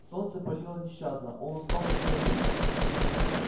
солнце палило нещадно он устал и хотел пить